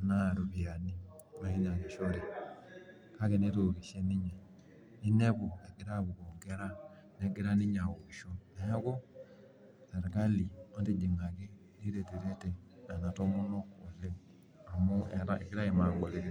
kake ropiyiani netookishe ninye. inepu egira apukoo nkera. negira ninye aokisho. neemu sirkali. matijingaki. niretirete Nena tomonok oleng. amu